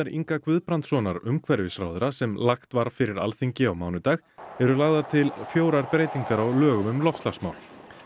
Inga Guðbrandssonar umhverfisráðherra sem lagt var fyrir Alþingi á mánudag eru lagðar til fjórar breytingar á lögum um loftslagsmál